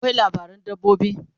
akwai labaran dabbobi